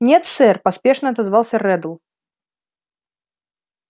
нет сэр поспешно отозвался реддл